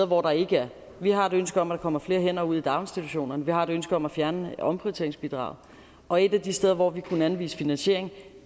hvor der ikke er vi har et ønske om at der kommer flere ud i daginstitutionerne vi har et ønske om at fjerne omprioriteringsbidraget og et af de steder hvor vi kunne anvise en finansiering